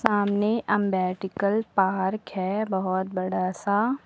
सामने अंबेडकल पार्क है बहोत बड़ा सा।